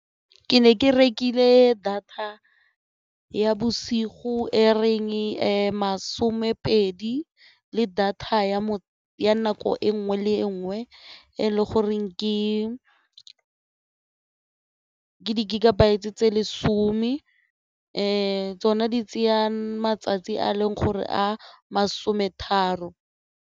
Ke ne ke rekile data ya bosigo e reng masomepedi le data ya nako e nngwe le nngwe e le go reng ke di-gigabytes-e tse lesome le tsona di tseya matsatsi a leng gore a masome tharo.